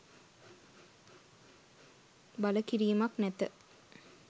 බල කිරීමක් නැත.